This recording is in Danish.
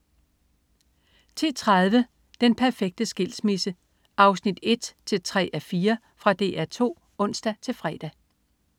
10.30 Den perfekte skilsmisse 1-3:4. Fra DR 2(ons-fre)